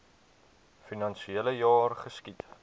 finansiele jaar geskied